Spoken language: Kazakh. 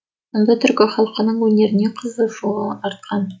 сонда түркі халқының өнеріне қызығушылығым артқан